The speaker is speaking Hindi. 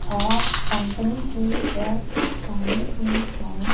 और कंपनी की ड्रेस पहनी हुई है।